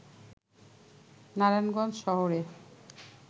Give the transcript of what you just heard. নারায়ণগঞ্জ শহরে